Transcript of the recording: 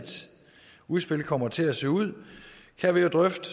udspil kommer til at se ud kan vi jo drøfte